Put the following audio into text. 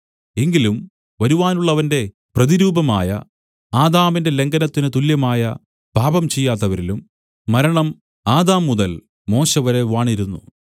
എങ്കിലും വരുവാനുള്ളവന്റെ പ്രതിരൂപമായ ആദാമിന്റെ ലംഘനത്തിന് തുല്യമായ പാപം ചെയ്യാത്തവരിലും മരണം ആദാം മുതൽ മോശെവരെ വാണിരുന്നു